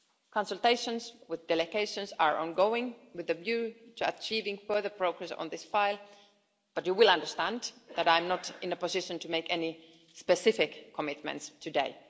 Consultations with delegations are ongoing with a view to achieving further progress on this file, but you will understand that I'm not in a position to make any specific commitments today.